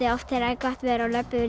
oft þegar er gott veður þá löbbum við